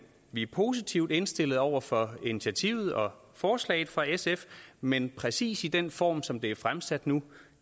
vi positivt indstillet over for initiativet og forslaget fra sf men i præcis den form som det er fremsat nu